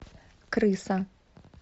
крыса